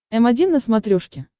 м один на смотрешке